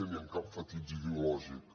ni amb cap fetitxe ideològic